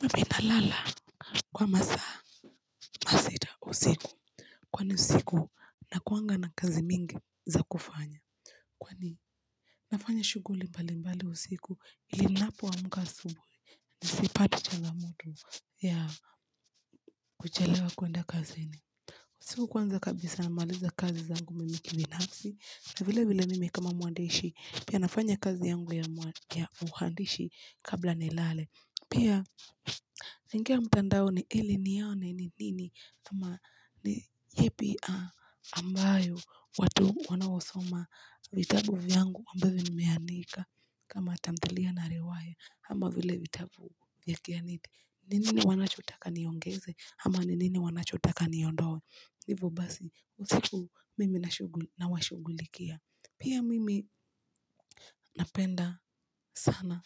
Mimi nalala kwa masaa masita usiku. Kwani usiku nakuanga na kazi mingi za kufanya. Kwani? Nafanya shughuli mbalimbali usiku ili ninapo amka asubuhi. Nisipate changamoto ya kuchelewa kuenda kazini. Usiku kwanza kabisa namaliza kazi zangu mimi kibinafsi. Na vilevile mimi kama mwandishi pia nafanya kazi yangu ya uandishi kabla nilale. Pia naingia mtandaoni ili nione ni nini ama ni yepi ambayo watu wanaosoma vitabu vyangu ambavyo nimeandika kama tamthilia na riwaya. Ama vile vitabu ya kihadithi. Ni nini wanachotaka niongeze ama ni nini wanachotaka niondoe. Hivo basi. Usiku mimi nawashughulikia. Pia mimi napenda sana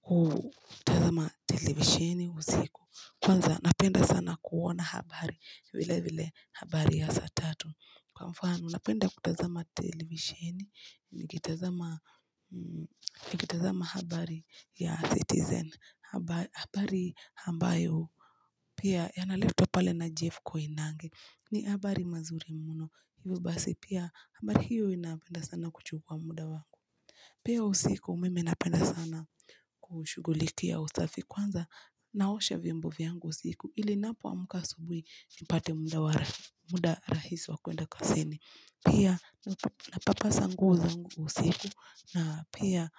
kutazama televisheni usiku. Kwanza napenda sana kuona habari vilevile habari ya saa tatu. Kwa mfano, napenda kutazama televisheni, nikitazama habari ya Citizen, habari ambayo pia yanaletwa pale na Jeff Koinange. Ni habari mazuri mno. Hivyo basi pia habari hiyo inapenda sana kuchukua muda wangu. Pia usiku mimi napenda sana kuushughulikia usafi kwanza, naosha vyombo vyangu usiku ili napoamka asubuhi nipate muda rahisi wa kuenda kazini. Pia napapasa nguo zangu usiku na pia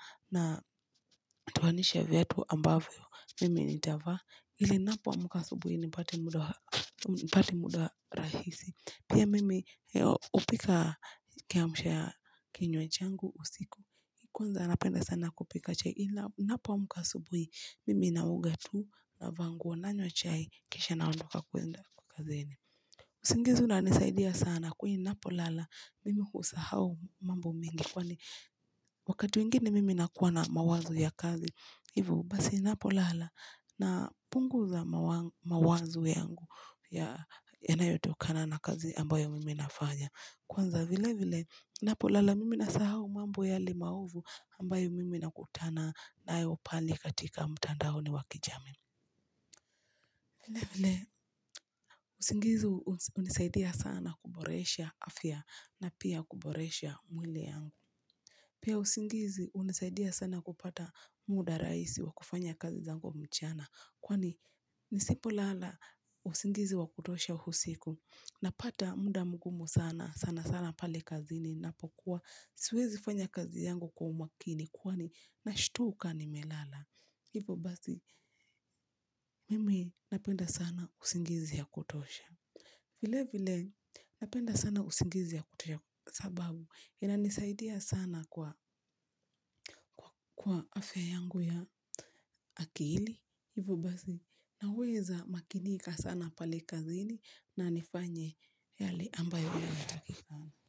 natoanisha viatu ambavyo mimi nitavaa ili napoamka asubuhi nipate muda rahisi. Pia mimi hupika kiamsha kinywa changu usiku. Kwanza napenda sana kupika chai. Napoamka asubuhi, mimi naoga tu navaa nguo, nanywa chai kisha naondoka kuenda kwa kazini. Usingizi unanisaidia sana kwani ninapolala mimi husahau mambo mengi. Kwani wakati mwingine mimi nakuwa na mawazo ya kazi. Hivo, basi napolala napunguza mawazo yangu yanayotokana na kazi ambayo mimi nafanya. Kwanza vilevile, napolala mimi nasahau mambo yale maovu ambayo mimi nakutana nayo pale katika mtandaoni wa kijamii. Vilevile, usingizi hunisaidia sana kuboresha afya na pia kuboresha mwili yangu. Pia usingizi hunisaidia sana kupata muda rahisi wa kufanya kazi zangu kwa mchana kwani nisipolala usingizi wa kutosha usiku napata muda mgumu sana. Sana sana pale kazini ninapokuwa siwezi fanya kazi yangu kwa umakini kwani nashtuka nimelala. Hivo basi mimi napenda sana usingizi ya kutosha. Vilevile napenda sana usingizi ya kutosha sababu inanisaidia sana kwa afya yangu ya akili. Hivo basi naweza makinika sana pale kazini na nifanye yale ambayo yanatakikana.